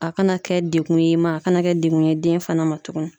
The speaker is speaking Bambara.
A kana kɛ degun y'i ma a kana kɛ degun ye den fana ma tuguni.